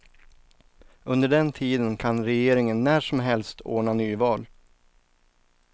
Under den tiden kan regeringen när som helst ordna nyval.